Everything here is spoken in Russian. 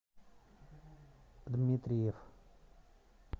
дмитриев